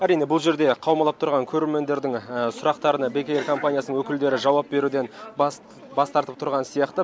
әрине бұл жерде қаумалап тұрған көрермендердің сұрақтарына бек эйр компаниясының өкілдері жауап беруден бас бас тартып тұрған сияқты